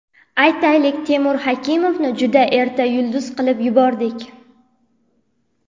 Aytaylik, Temur Hakimovni juda erta yulduz qilib yubordik.